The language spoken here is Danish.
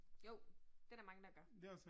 Jo, det der mange, der gør